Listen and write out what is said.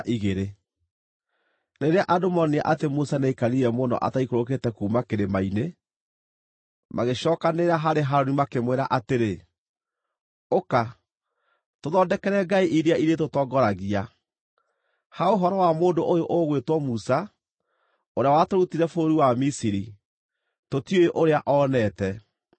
Rĩrĩa andũ moonire atĩ Musa nĩaikarire mũno ataikũrũkĩte kuuma kĩrĩma-inĩ, magĩcookanĩrĩra harĩ Harũni makĩmwĩra atĩrĩ, “Ũka, tũthondekere ngai iria irĩtũtongoragia. Ha ũhoro wa mũndũ ũyũ ũgwĩtwo Musa, ũrĩa watũrutire bũrũri wa Misiri, tũtiũĩ ũrĩa oonete.”